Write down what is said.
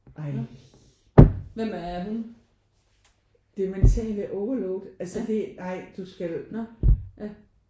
Ej! Det mentale overload altså det ej du skal